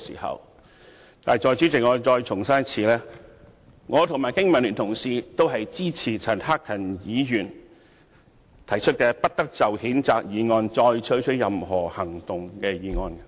可是，代理主席，我要重申，我和經民聯的同事均支持陳克勤議員提出，"不得就譴責議案再採取任何行動"的議案。